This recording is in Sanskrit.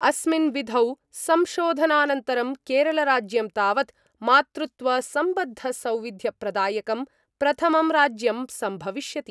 अस्मिन् विधौ संशोधनानंतरं केरलराज्यं तावत् मातृत्वसम्बद्धसौविध्यप्रदायकं प्रथमं राज्यं सम्भविष्यति।